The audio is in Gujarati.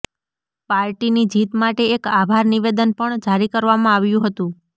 પાર્ટીની જીત માટે એક આભાર નિવેદન પણ જારી કરવામાં આવ્યું હતું